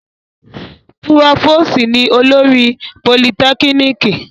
Púròfòsì ni olórí Politekiniki